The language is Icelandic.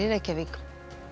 Reykjavík